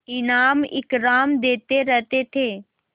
इनाम इकराम देते रहते थे